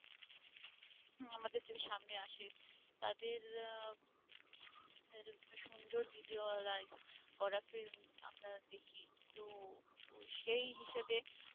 আমাদের যদি সামনে আসে তাদের আহ তাদের সুন্দর visualize করা film আমরা দেখি তো সেই হিসেবে